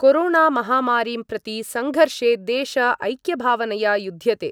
कोरोणामहामारीं प्रति सङ्घर्षे देश ऐक्यभावनया युद्ध्यते।